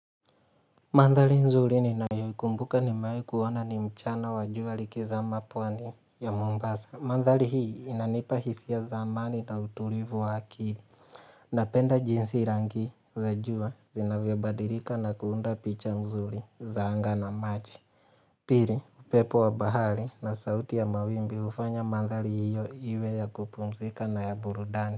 Mandhari nzuri ninayoikumbuka nimewai kuona ni mchana wa jua likizama pwani ya mombasa. Mandhari hii inanipa hisia za amani na utulivu wa akili. Napenda jinsi rangi za jua zinavyobadilika na kuunda picha nzuri za anga na maji. Pili, upepo wa bahari na sauti ya mawimbi ufanya mandhari hiyo iwe ya kupumzika na ya burudani.